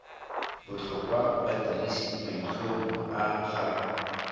botlhokwa badirisi maitlhomo a ga